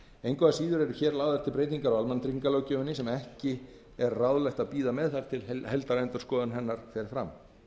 engu að síður eru hér lagðar til breytingar á almannatryggingalöggjöfinni sem ekki er unnt að bíða með þar til heildarendurskoðun hennar fer fram